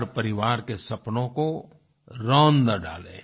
हर परिवार के सपनों को रौंद न डाले